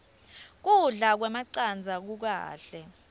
kudla kwemacandza kukahle